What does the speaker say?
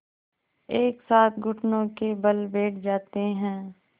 एक साथ घुटनों के बल बैठ जाते हैं